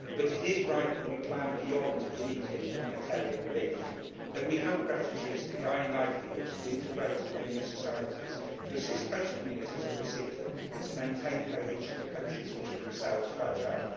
But it is right that we plan beyond immediate humanitarian relief, that we help refugees to gain livelihoods to integrate in their new societies, to assist host communities to receive them and to maintain cohesion in countries which are themselves fragile.